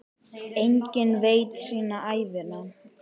Jafnvel meira.